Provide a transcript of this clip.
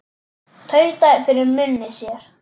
Tautaði fyrir munni sér.